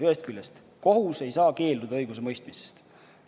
Ühest küljest kohus ei saa keelduda õigusemõistmisest.